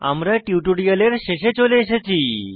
আমরা টিউটোরিয়ালের শেষে চলে এসেছি